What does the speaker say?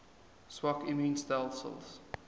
swak immuun stelsels